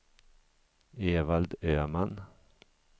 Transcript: Evald Öman